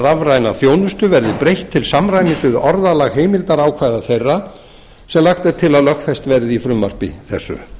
rafræna þjónustu verði breytt til samræmis við orðalag heimildarákvæða þeirra sem lagt er til í frumvarpi þessu